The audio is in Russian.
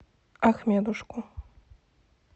ахмедушку